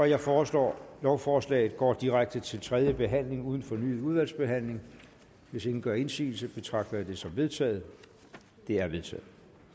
jeg foreslår at lovforslaget går direkte til tredje behandling uden fornyet udvalgsbehandling hvis ingen gør indsigelse betragter jeg det som vedtaget det er vedtaget